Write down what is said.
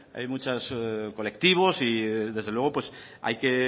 hay muchos colectivos y desde luego hay que